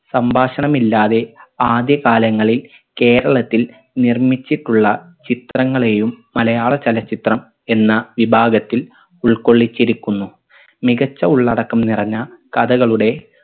സംഭാഷണമില്ലാതെ ആദ്യ കാലങ്ങളിൽ കേരളത്തിൽ നിർമ്മിച്ചിട്ടുള്ള ചിത്രങ്ങളെയും മലയാള ചലച്ചിത്രം എന്ന വിഭാഗത്തിൽ ഉൾക്കൊള്ളിച്ചിരിക്കുന്നു മികച്ച ഉള്ളടക്കം നിറഞ്ഞ കഥകളുടെ